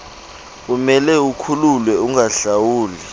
umele ukhululwe ungahlawuli